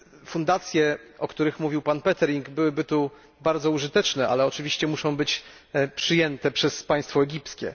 Fundacje, o których mówił pan Pöttering, byłyby tu bardzo użyteczne, ale oczywiście muszą być przyjęte przez państwo egipskie.